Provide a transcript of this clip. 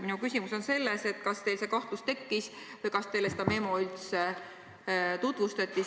Minu küsimus on: kas teil tekkis kahtlus või kas teile seda memo üldse tutvustati?